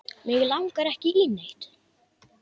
Mig langar ekki í neitt.